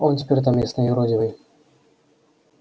он теперь там местный юродивый